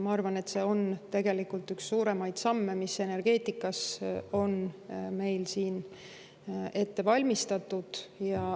Ma arvan, et see on tegelikult üks suuremaid samme, mis meil energeetikas on ette valmistatud.